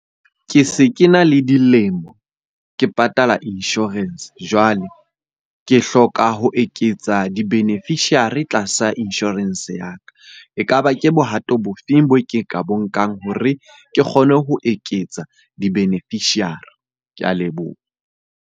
Ke se ke na le dilemo ke patala insurance. Jwale ke hloka ho eketsa di-beneficiary tlasa insurance ya ka. Ekaba ke bohato bo feng boo ke ka bo nkang hore ke kgone ho eketsa di-beneficiary. Ke a leboha.